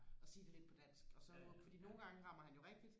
og sige det lidt på dansk og så må fordi nogle gange rammer han jo rigtigt